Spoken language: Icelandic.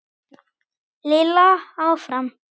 Lilla áfram.